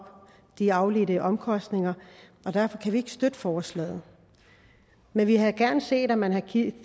i afledte omkostninger og derfor kan vi ikke støtte forslaget men vi havde gerne set at man havde